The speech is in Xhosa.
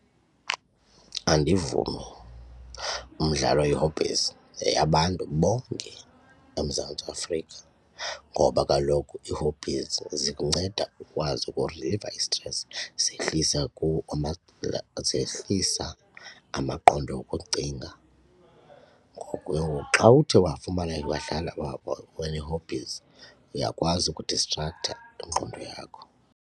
Andivumi, umdlalo ii-hobbies yeyabantu bonke eMzantsi Afrika ngoba kaloku ii-hobbies zikunceda ukwazi ukuriliva isitresi zehlisa zehlisa amaqondo okucinga. Ngoku ke ngoku xa uthe wafumana wadlala wanee-hobbies uyakwazi ukudistrakhtha ingqondo yakho.